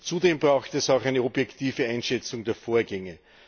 Zudem braucht es auch eine objektive Einschätzung der Vorgänge.